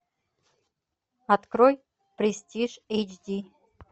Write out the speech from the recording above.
открой престиж эйч ди